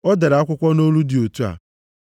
O dere akwụkwọ nʼolu dị otu a: